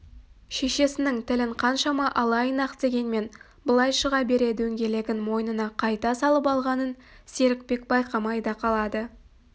шешесінің тілін қаншама алайын-ақ дегенмен былай шыға бере дөңгелегін мойнына қайта салып алғанын серікбек байқамай да қалады